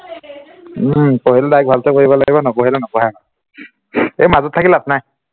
উম পঢ়িলে direct ভালকে পঢ়িব লাগিব, নপঢ়িলে নপঢ়াই ভাল, এৰ মাজত থাকি লাভ নাই